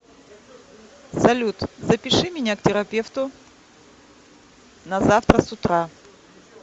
салют запиши меня к терапевту на завтра с утра